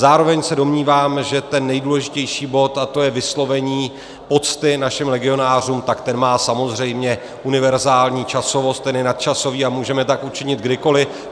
Zároveň se domnívám, že ten nejdůležitější bod, a to je vyslovení pocty našim legionářům, tak ten má samozřejmě univerzální časovost, ten je nadčasový a můžeme tak učinit kdykoli.